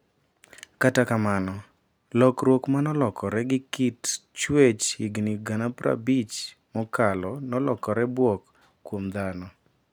kata kamano lokruok manolokore gi kit chwech higni gana 50 mokalonolokore bwok kuom dhano,